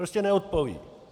Prostě neodpoví.